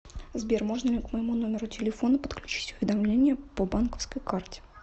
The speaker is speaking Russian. сбер можно ли к моему номеру телефона подключить уведомления по банковской карте